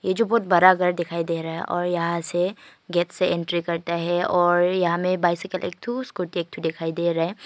ये जो बहुत बड़ा घर दिखाई दे रहा है और यहां से गेट से एंट्री करते है और यहां में बाईसाइकिल एक ठो स्कूटी एक ठो दिखाई दे रहा है।